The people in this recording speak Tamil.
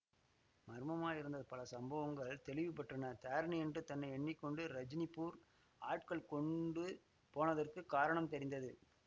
மர்மமாயிருந்த பல சம்பவங்கள் தெளிவு பெற்றன தாரிணியென்று தன்னை எண்ணி கொண்டு ரஜினிபூர் ஆட்கள் கொண்டு போனதற்குக் காரணம் தெரிந்தது